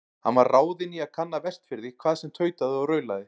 Hann var ráðinn í að kanna Vestfirði, hvað sem tautaði og raulaði.